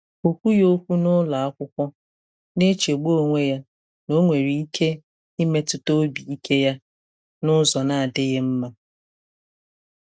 Ọ kwughị okwu n'ụlọ akwụkwọ, na-echegbu onwe ya na ọ nwere ike imetụta obi ike ya n'ụzọ na-adịghị mma.